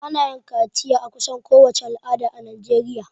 Ana yin kaciya a kusan kowace al'ada a najeriya